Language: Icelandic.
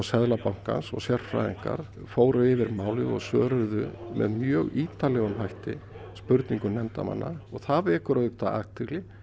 Seðlabankans og sérfræðingar fóru yfir málið og og svöruðu með mjög ítarlegum hætti spurningum nefndarmanna og það vekur auðvitað athygli